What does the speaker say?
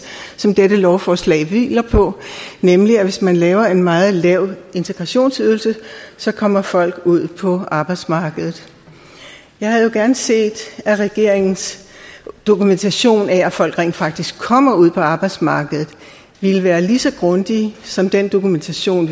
som dette lovforslag hviler på nemlig at hvis man laver en meget lav integrationsydelse så kommer folk ud på arbejdsmarkedet jeg havde jo gerne set at regeringens dokumentation af at folk rent faktisk kommer ud på arbejdsmarkedet ville være lige så grundig som den dokumentation